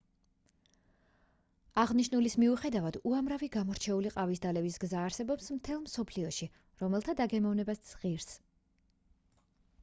აღნიშნულის მიუხედავად უამრავი გამორჩეული ყავის დალევის გზა არსებობს მთელს მსოფლიოში რომელთა დაგემოვნებაც ღირს